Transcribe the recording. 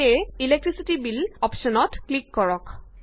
সেয়ে electricity bill অপশ্যনত click কৰক